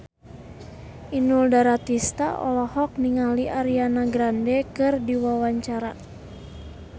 Inul Daratista olohok ningali Ariana Grande keur diwawancara